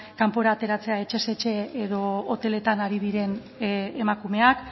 kanpora ateratzea etxez etxe edo hoteletan ari diren emakumeak